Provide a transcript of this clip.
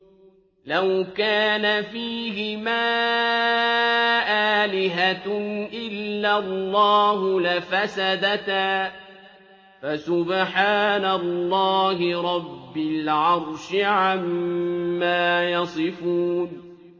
لَوْ كَانَ فِيهِمَا آلِهَةٌ إِلَّا اللَّهُ لَفَسَدَتَا ۚ فَسُبْحَانَ اللَّهِ رَبِّ الْعَرْشِ عَمَّا يَصِفُونَ